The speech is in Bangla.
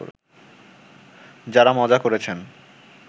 যাঁরা মজা করেছেন